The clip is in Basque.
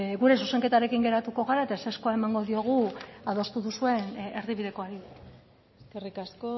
gure zuzenketarekin geratuko gara eta ezezkoa emango diogu adostu duzuen erdibidekoari eskerrik asko